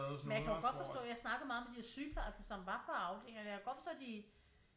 Men jeg kan jo godt forstå jeg snakkede meget med de der sygeplejersker som var på afdelingen og jeg kan godt forstå at de